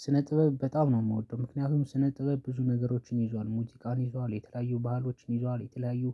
ስነ ጥበብ በጣም ነው የምወደው ምክንያቱም ስነ ጥበብ ብዙ ነገሮችን ይዟል ሙዝቃን ይዟል የተለያዩ ባህሎችን ይዟል የተለያዩ